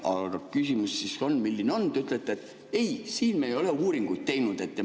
Aga te ütlete, et ei, me ei ole uuringuid teinud.